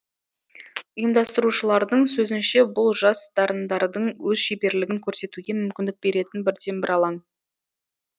ұйымдастырушылардың сөзінше бұл жас дарындардың өз шеберлігін көрсетуге мүмкіндік беретін бірден бір алаң